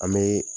An bɛ